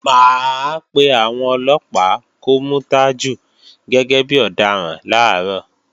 Mà á pé àwọn Ọlọ́pàá kó mú Tajú gẹ́gẹ́ bí ọ̀daràn làárọ̀